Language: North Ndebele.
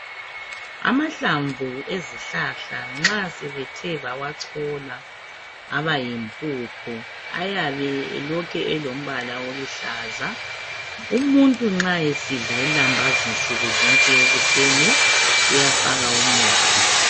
amahlamvu ezihlahla nxa sebethe bawachola abayimphuphu ayabe elokhe elombala oluhlaza umuntu nxa esidla ilambazi nsukuzonke ekuseni uyafaka umuthi